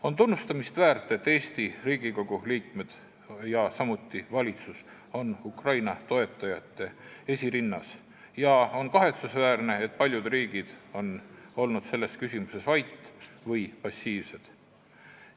On tunnustamist väärt, et Eesti Riigikogu liikmed ja samuti valitsus on Ukraina toetajate esirinnas, ning on kahetsusväärne, et paljud riigid on olnud selles küsimuses vait või passiivsed.